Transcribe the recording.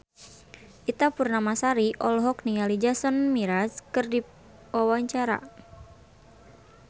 Ita Purnamasari olohok ningali Jason Mraz keur diwawancara